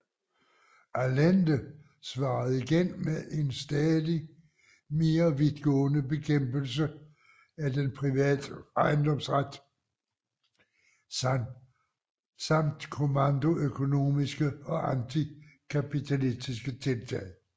Allende svarede igen med en stadigt mere vidtgående bekæmpelse af den private ejendomsret samt kommandoøkonomiske og antikapitalistiske tiltag